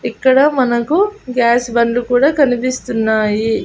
ఇక్కడ మనకు గ్యాస్ బండ్లు కూడా కనిపిస్తున్నాయి.